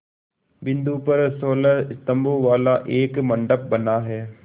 बिंदु पर सोलह स्तंभों वाला एक मंडप बना है